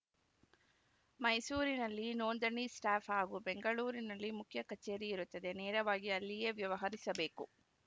ಮೈಸೂರಿನಲ್ಲಿ ನೋಂದಣಿ ಸ್ಟಾಫ್‌ ಹಾಗೂ ಬೆಂಗಳೂರಿನಲ್ಲಿ ಮುಖ್ಯ ಕಚೇರಿಯಿರುತ್ತದೆ ನೇರವಾಗಿ ಅಲ್ಲಿಯೇ ವ್ಯವಹರಿಸಬೇಕು